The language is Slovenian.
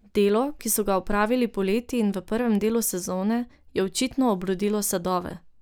Delo, ki so ga opravili poleti in v prvem delu sezone, je očitno obrodilo sadove.